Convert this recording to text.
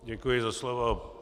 Děkuji za slovo.